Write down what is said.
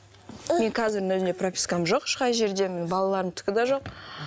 мен қазірдің өзінде пропискам жоқ ешқай жерде менің балаларымдікі де жоқ